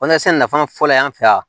nafa fɔlɔ y'an fɛ yan